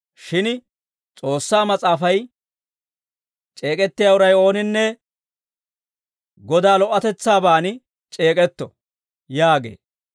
Shin S'oossaa Mas'aafay, «C'eek'ettiyaa uray ooninne Godaa lo"otetsaabaan c'eek'etto» yaagee.